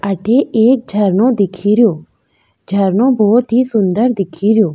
अठे एक झरनो दिखेरो झरनो बहुत ही सुन्दर दिखेरो।